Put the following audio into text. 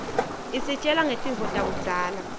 isitjela ngetintfo takudzala